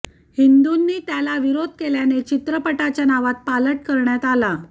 हिंदूंनी त्याला विरोध केल्याने चित्रपटाच्या नावात पालट करण्यात आला